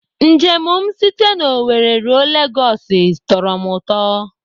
Njem m site na Owerri ruo Legosi tọrọ m ụtọ.